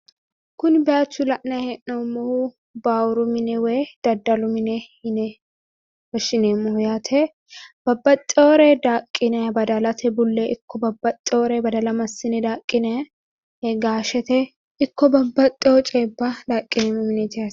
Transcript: Kuni bayiichu la'nayi hee'noommohu baawuru mine woy daddalu mine yine woshshineemmoho yaate babbaxxeyoore daaqqinayi badalate bullee ikko babbaxxeyoore badala massine daaqqinayi gaashete ikko babbaxxeyo coyiibba daaqqinayi mineeti yaate.